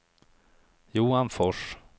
Johan Fors